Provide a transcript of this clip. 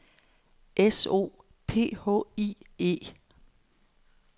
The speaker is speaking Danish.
S O P H I E